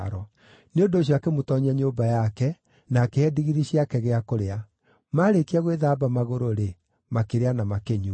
Nĩ ũndũ ũcio akĩmũtoonyia nyũmba yake na akĩhe ndigiri ciake gĩa kũrĩa. Maarĩkia gwĩthamba magũrũ-rĩ, makĩrĩa na makĩnyua.